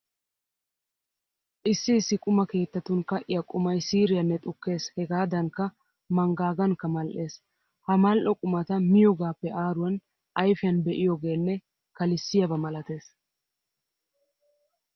Issi issi quma keettatun ka'iya qumay siiriyanne xukkees hegaadankka manggaagankka mal"ees. Ha mal"o qumata miyogaappe aaruwan ayfiyan be'iyogeenne kalissiyaba malatees.